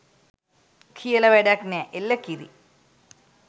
කියල වැඩක් නෑ.එළ කිරි